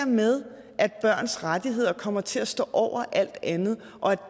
med at børns rettigheder kommer til at stå over alt andet og at